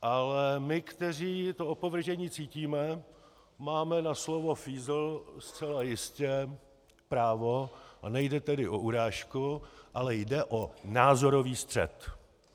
Ale my, kteří to opovržení cítíme, máme na slovo fízl zcela jistě právo, a nejde tedy o urážku, ale jde o názorový střet.